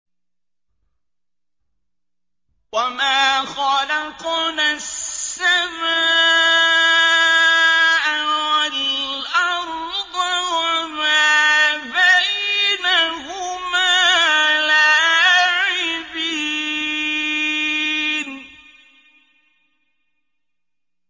وَمَا خَلَقْنَا السَّمَاءَ وَالْأَرْضَ وَمَا بَيْنَهُمَا لَاعِبِينَ